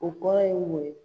O kɔrɔ ye mun ye?